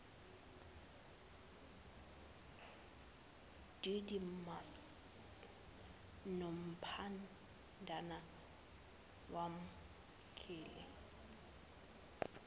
didymus nompandana wamkele